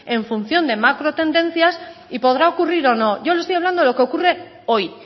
en función de macro tendencias y podrá ocurrir o no yo le estoy hablando de lo que ocurre hoy